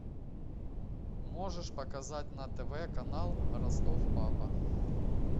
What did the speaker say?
можешь показать на тв канал ростов папа